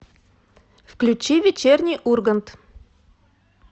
включи вечерний ургант